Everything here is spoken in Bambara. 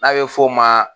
N'a bɛ f'o ma